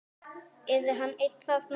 Yrði hann einn þarna?